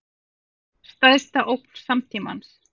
Stærsta ógn samtímans